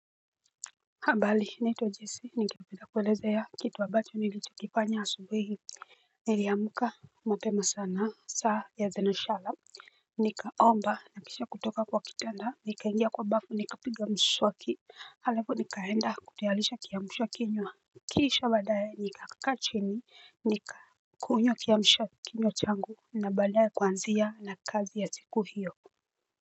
Habari naitwa jese nataka kukuelezea kitu ambacho nilichokifanya asubuhi hii. Niliamka mapema sana saa ya thenashara. Nikaomba na kisha kutoka kwa kitanda nikaingia kwa bafu nika piga mswaki halafu nikaenda kutayarisha kiamsha kinywa. Kisha baadaye nikakaa chini nikakunywa kiamsha kinywa changu na baadaye kuanzia na kazi ya siku hiyo. Kwa hivyo.